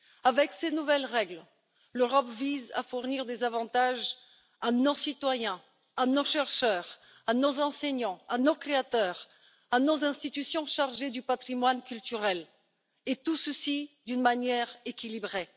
Avec ces nouvelles règles, l'Europe vise à fournir des avantages à nos citoyens, à nos chercheurs, à nos enseignants, à nos créateurs, à nos institutions chargées du patrimoine culturel, et tout ceci d'une manière équilibrée.